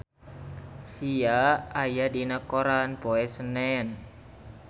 Sia aya dina koran poe Senen